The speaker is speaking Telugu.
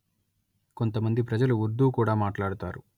కొంతమంది ప్రజలు ఉర్దూ కూడా మాట్లాడుతారు